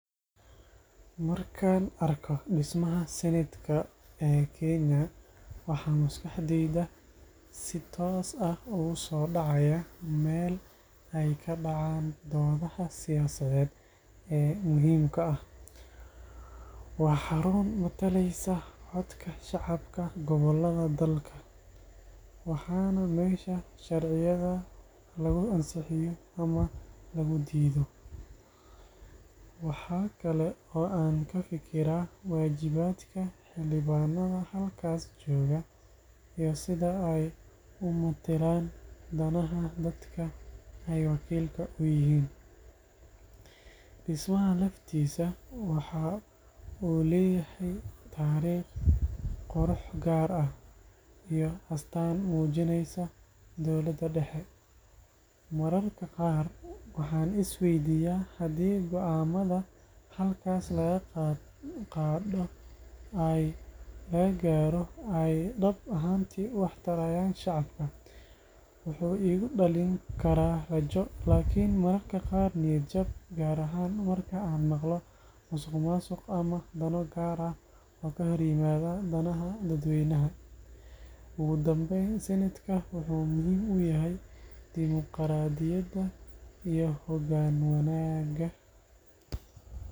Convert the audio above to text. Markaan arko dhismaha Senate-ka ee Kenya, waxa maskaxdayda si toos ah ugu soo dhacaya meel ay ka dhacaan doodaha siyaasadeed ee muhiimka ah. Waa xarun matalaysa codka shacabka gobollada dalka, waana meesha sharciyada lagu ansixiyo ama lagu diido. Waxa kale oo aan ka fikiraa waajibaadka xildhibaannada halkaas jooga iyo sida ay u metelaan danaha dadka ay wakiilka u yihiin. Dhismaha laftiisa waxa uu leeyahay taariikh, qurux gaar ah, iyo astaan muujinaysa dawladda dhexe. Mararka qaar, waxaan is weydiiyaa haddii go’aannada halkaas laga gaadho ay dhab ahaantii wax tarayaan shacabka. Wuxuu igu dhalin karaa rajo, laakiin mararka qaar niyad jab, gaar ahaan marka aan maqlo musuqmaasuq ama dano gaar ah oo ka hor yimaada danaha dadweynaha. Ugu dambayn, Senate-ka wuxuu muhiim u yahay dimuqraadiyadda iyo hoggaan wanaagga.